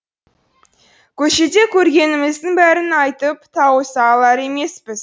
көшеде көргеніміздің бәрін айтып тауыса алар емеспіз